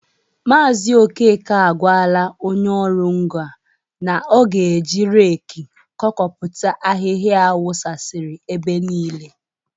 Maazi okeke agwala onye ọrụ ngo a na ọ ga-eje reki kpokọta ahịhịa a wukasịrị ebe niile.